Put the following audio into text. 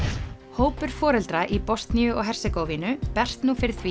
hópur foreldra í Bosníu og Hersegóvínu berst nú fyrir því